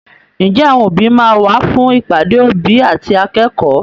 Ǹjẹ́ àwọn òbí máa wá fún ìpàdé òbí àti akẹ́kọ̀ọ́?